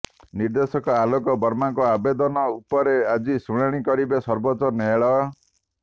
ନିର୍ଦ୍ଦେଶକ ଆଲୋକ ବର୍ମାଙ୍କ ଆବେଦନ ଉପରେ ଆଜି ଶୁଣାଣି କରିବେ ସର୍ବୋଚ୍ଚ ନ୍ୟାୟାଳୟ